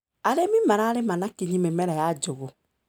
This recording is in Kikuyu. Arĩmi mararĩma na kinyi mĩmera ya njugũ.